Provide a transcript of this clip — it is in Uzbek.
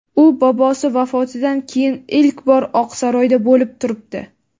u bobosi vafotidan keyin ilk bor Oqsaroyda bo‘lib turibdi.